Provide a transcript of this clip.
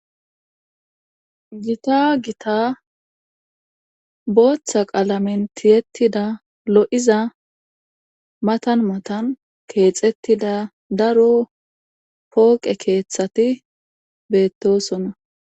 gita gita booththa qalamentiyettida lo7iza matan matan keexettida daro pooqe keeththati beettosonna